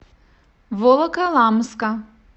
волоколамска